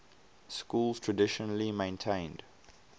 schools traditionally maintained